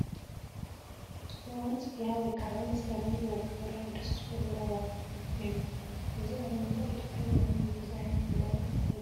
ኣብ እዋን ፅግያ ወይ ክዓ መስከረም ብበዝሒ ዝራኣዩ ደስ ዝብሉ ዕንበባ እዩ፡፡ እዚ ኣብ መላእ ኢ/ያ ዝዕንብብ እዩ፡፡ እዚ ዓይነት ዕንበባ እንታይ ይባሃል?